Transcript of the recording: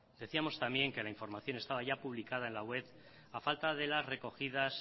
decíamos también que la información estaba ya publicada en la web a falta de las recogidas